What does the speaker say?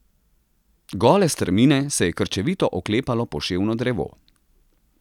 Gole strmine se je krčevito oklepalo poševno drevo.